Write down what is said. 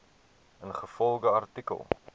ingevolge artikel